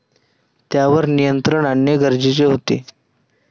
त्यावर नियंत्रण आणणे गरजेचे होते.